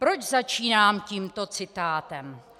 Proč začínám tímto citátem?